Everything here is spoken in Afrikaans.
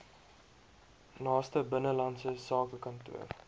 naaste binnelandse sakekantoor